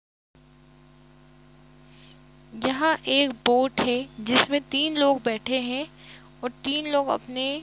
यहाँ एक बोट है जिसमे तिन लोग बैठे है और तिन लोग अपने--